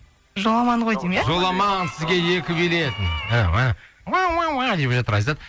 жоламан ғой деймін ия жоламан сізге екі билет деп жатыр айзат